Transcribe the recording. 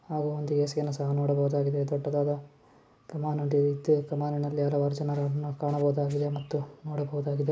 ಹಾಗೂ ಒಂದು ಏಸಿಯನ್ನು ನೋಡಬಹುದಾಗಿದೆ ದೊಡ್ಡದಾದ ಕಮಾನ ಕಮಾನಿನಲ್ಲಿ ಹಲವಾರು ಜನರನ್ನು ಕಾಣಬಹುದಾಗಿದೆ ಮತ್ತು ನೋಡಬಹುದಾಗಿದೆ .